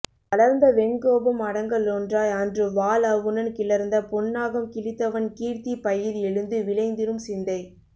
வளர்ந்த வெங்கோபம் அடங்க லொன்றாய் அன்று வாழ் அவுணன் கிளர்ந்த பொன்னாகம் கிழித்தவன் கீர்த்திப் பயிர் எழுந்து விளைந்திடும் சிந்தை